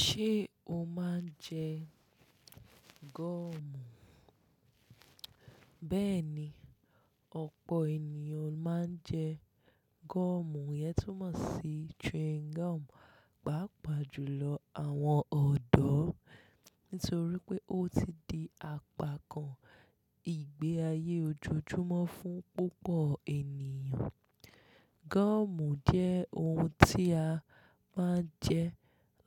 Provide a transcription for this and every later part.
Ṣé o máa ń jẹ gọ́ọ̀mù? Bẹ́ẹ̀ni, ọ̀pọ̀ ènìyàn máa ń jẹ gọ́ọ̀mù, yẹ́ tún mọ̀ sí chewing gum, pàápàá jù lọ àwọn ọ̀dọ́, nítorí pé ó ti di apakan ìgbé ayé ojoojúmọ́ fún púpọ̀ ènìyàn. Gọ́ọ̀mù jẹ́ ohun tí a máa ń jẹ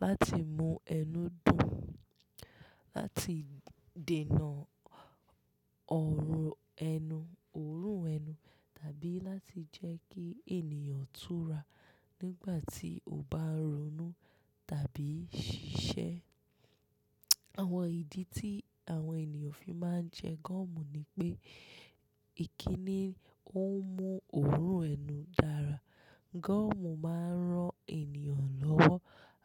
láti mú ẹnu dùn, láti dènà ọrọ ẹnu, òórùn ẹnu, tàbí láti jẹ́ kí ènìyàn tura nígbà tí ó bá ronú tàbí ṣiṣẹ́. Àwọn ìdí tí àwọn ènìyàn fi máa ń jẹ gọ́ọ̀mù ni pé ìkínni ó ń mú òórùn ẹnu dára. Gọ́ọ̀mù máa ń rán ènìyàn lọ́wọ́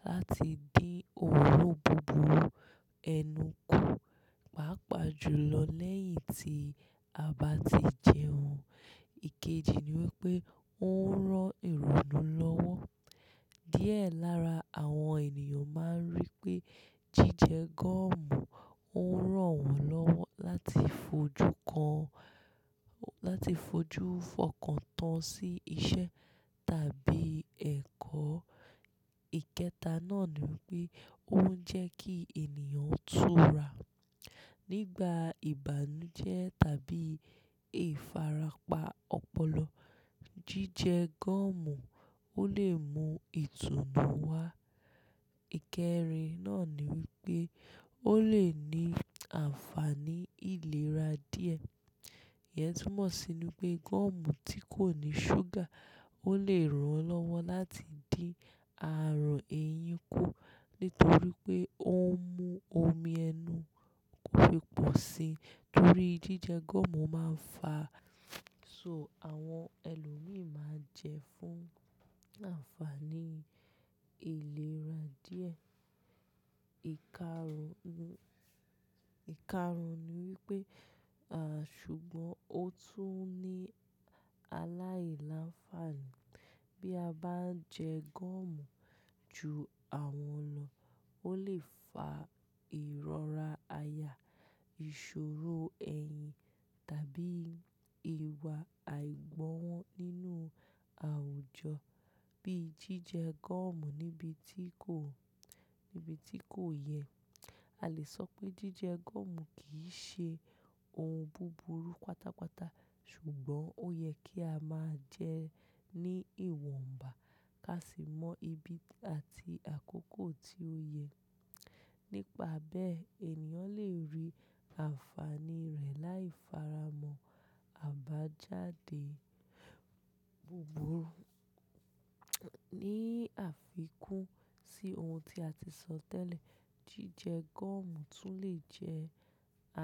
láti dín òórùn búburú ẹnu kù, pàápàá jùlọ lẹ́yìn tí a bá ti jẹun. Ikeji ni wípé ó ń rán ìrònú lọ́wọ́. Díẹ̀ lára àwọn ènìyàn máa ń rí pé jíjẹ gọ́ọ̀mù ń ràn wọ́n lọ́wọ́ láti fojú kan, láti fojú fọkàn tán sí iṣẹ́ tàbí ẹ̀kọ́. Ikẹta náà ni wípé ó ń jẹ́ kí ènìyàn tura. Nígbà ìbànújẹ́ tàbí ìfarapa ọpọlọ, jíjẹ gọ́ọ̀mù ó lè mú ìtùnú wá. Ikẹrin náà ni wípé ó lè ní àǹfààní ìlera díẹ̀. Iyẹn túmọ̀ sínu pé gọ́ọ̀mù tí kò ní ṣúgà ó lè ran lọ́wọ́ láti dín ààrùn ẹyin kù, nítorí pé ó ń mú omi ẹnu kò fi pò si. Nítorí jíjẹ gọ́ọ̀mù máa ń fà á, so àwọn ẹlòmíràn máa ń jẹ ẹ́ fún àǹfààní ìlera díẹ̀. Ìkarun, ìkarun ni wípé, à, ṣùgbọ́n ó tún ní aláìláǹfààní. Bí a bá ń jẹ gọ́ọ̀mù ju àwọn ọlọ, ó lè fa ìrọra aya, ìṣòro ẹ̀yìn tàbí ìwà àìgbọ́nwọ́ nínú àwùjọ. Bí jíjẹ gọ́ọ̀mù níbi tí kò, níbi tí kò yẹ, a lè sọ pé jíjẹ gọ́ọ̀mù kì í ṣe ohun búburú pátápátá, ṣùgbọ́n ó yẹ kí a máa jẹ ẹ́ ní ìwọ̀nba, ká sì mọ ibi àti àkókò tí ó yẹ. Nípa bẹ́ẹ̀, ènìyàn lè rí àǹfààní rẹ̀ láì fara mọ̀ àbájáde búburú. Ní àfikún sí ohun tí a ti sọ tẹ́lẹ̀, jíjẹ gọ́ọ̀mù tún lè jẹ́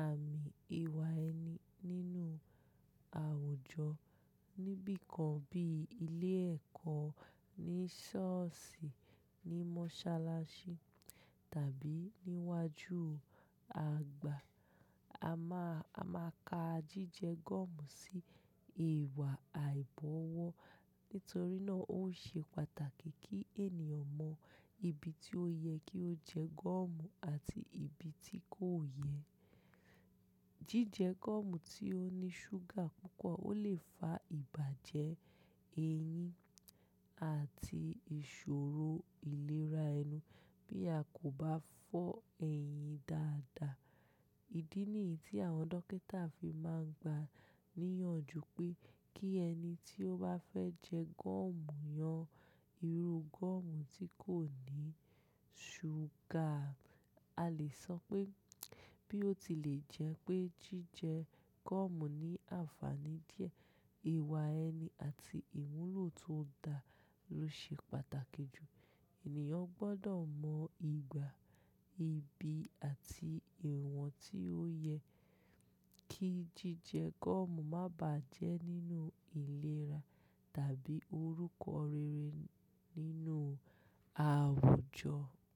àmì ìwà ẹni nínú àwùjọ. Nibikàn bí ilé ẹ̀kọ́, ní ṣọ́ọ̀ṣì, ní mọ́ṣáláṣí tàbí níwájú àgbà. A máa, a máa ka jíjẹ gọ́ọ̀mù sí ìwà àìgbọ́wọ́. Nítorí náà ó ṣe pàtàkì kí ènìyàn mọ ibi tí ó yẹ kí ó jẹ gọ́ọ̀mù àti ibi tí kò yẹ. Jíjẹ gọ́ọ̀mù tí ó ní ṣúgà púpọ̀ ó lè fa ìbàjẹ́ ẹyín àti ìṣòro ìlera ẹnu bí a kò bá fọ ẹyin dáadáa. Ìdí nìyí tí àwọn dókítà fi máa ń gba níyanjú pé kí ẹni tí ó bá fẹ́ jẹ gọ́ọ̀mù yan irú gọ́ọ̀mù tí kò ní ṣúgà. A lè sọ pé, bí ó ti lè jẹ́ pé jíjẹ gọ́ọ̀mù ní àǹfààní díẹ̀, ìwà ẹni àti ìmúlò tó dà ló ṣe pàtàkì jù. Ènìyàn gbọ́dọ̀ mọ̀ ìgbà, ibi àti ìwọ̀n tí ó yẹ kí jíjẹ gọ́ọ̀mù má bà á jẹ́ nínú ìlera tàbí orúkọ rere nínú àwùjọ.